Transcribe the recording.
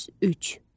103.